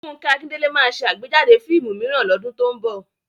Fúnkẹ́ Akíndélé ma ṣe àgbéjáde fíìmù mìíràn lọ́dún tó ń bọ̀